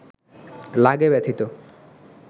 লাগে ব্যথিত